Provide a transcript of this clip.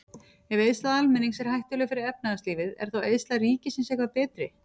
Ef eyðsla almennings er hættuleg fyrir efnahagslífið, er þá eyðsla ríkisins eitthvað betri?